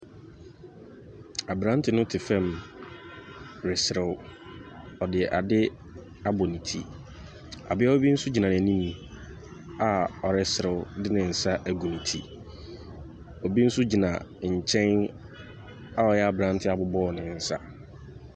Abrante no te fam reserew. Ɔde ade abɔ ne ti. Abeawa bi nso gyina n'anim a ɔreserew de ne nsa agu ne ti. Obi nso gyina nkyɛn a ɔyɛ abrante abobɔ ne nsa.